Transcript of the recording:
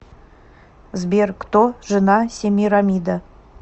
сбер кто жена семирамида